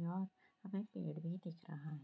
यहाँ पेड़ भी दिख रहा है।